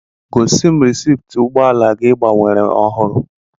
Gosi m rịsịptị ụgbọala gị ị gbàwéré ọhụrụ